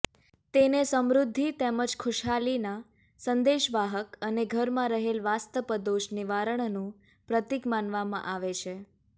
તેને સમૃદ્ધિ તેમજ ખુશહાલીના સંદેશવાહક અને ઘરમાં રહેલ વાસ્તપદોષ નિવારણનું પ્રતીક માનવામાં આવે છે